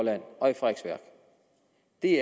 det